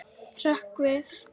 Hrökk við.